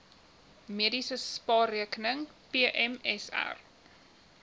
mediese spaarrekening pmsr